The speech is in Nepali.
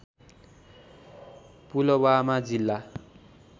पुलवामा जिल्ला